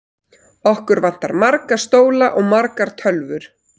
Okkur vantar marga stóla og margar tölvur.